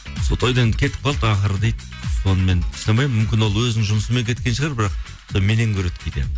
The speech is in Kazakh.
тойдан кетіп қалды ақыры дейді сонымен сұрамаймын мүмкін ол өзінің жұмысымен кеткен шығар бірақ меннен көреді кейде